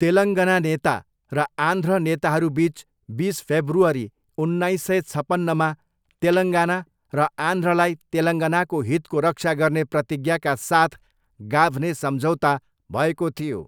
तेलङ्गना नेता र आन्ध्र नेताहरूबिच बिस फेब्रुअरी उन्नाइस सय छपन्नमा तेलङ्गना र आन्ध्रलाई तेलङ्गनाको हितको रक्षा गर्ने प्रतिज्ञाका साथ गाभ्ने सम्झौता भएको थियो।